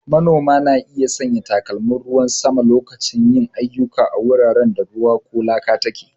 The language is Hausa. Manoma na iya sanya takalman ruwan sama lokacin yin ayyuka a wuraren da ruwa ko laka take.